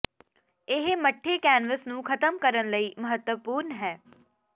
ਇਹ ਮੱਠੇ ਕੈਨਵਸ ਨੂੰ ਖ਼ਤਮ ਕਰਨ ਲਈ ਮਹੱਤਵਪੂਰਨ ਹੈ